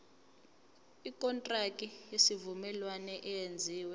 ikontraki yesivumelwano eyenziwe